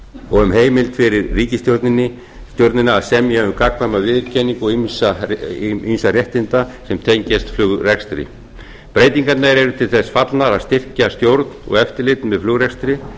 og um heimild fyrir ríkisstjórnina að semja um gagnkvæma viðurkenningu og ýmissa réttinda sem tengjast flugrekstri breytingarnar eru til þess fallnar að styrkja stjórn og eftirlit með flugrekstri